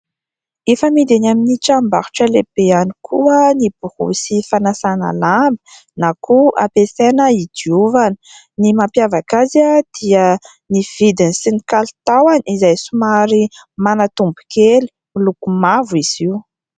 Efa amidy eny amin'ny tranom-barotra lehibe ihany koa ny borosy fanasana lamba na koa ampiasaina hidiovana. Ny mampiavaka azy dia ny vidiny sy ny kalitaony, izay somary manatombo kely. Miloko mavo izy io.